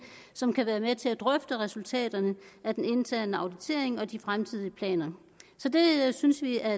som kan være med til at drøfte resultaterne af den interne auditering og de fremtidige planer det synes vi er